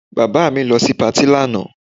Bàbá mi lọ sí patí lánàá